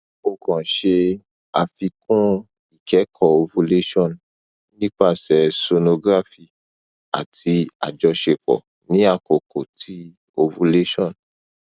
o kan ṣe afikun ikẹkọ ovulation nipasẹ sonography ati ajọṣepọ ni akoko ti ovulation